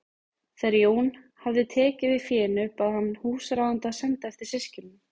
Þegar Jón hafði tekið við fénu bað hann húsráðanda að senda eftir systkinunum.